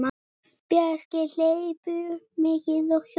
Bjarki hleypur mikið og hjólar.